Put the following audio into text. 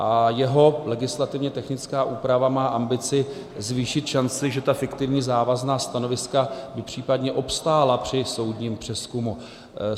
A jeho legislativně technická úprava má ambici zvýšit šanci, že ta fiktivní závazná stanoviska by případně obstála při soudním přezkumu.